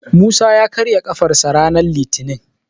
Musa ya karya ƙafarsa ranar litinin.